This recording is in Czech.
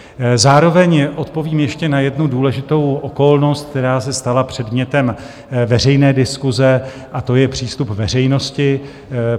Zároveň odpovím ještě na jednu důležitou okolnost, která se stala předmětem veřejné diskuse, a to je přístup veřejnosti.